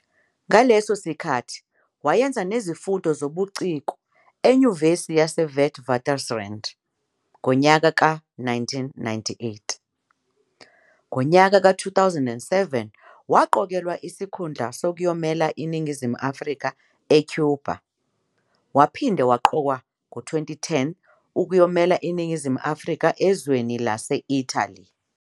Ngaleso sikhathi wayenza nezifundo zobuciko eNyuvesi yase Witwatersrand ngonyaka ka 1998. Ngonyaka ka 2007 waqokelwa isikhundla sokuyomelela iNingizimu Afrika eCuba waphinde waqokwa ngo 2010 ukuyomelela iNingizimu Afrika ezweni lase Italy.